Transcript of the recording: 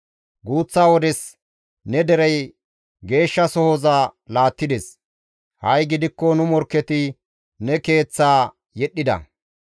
Guuththa wodes ne derey geeshshasohoza laattides; ha7i gidikko nu morkketi ne Keeththaa yedhdhida.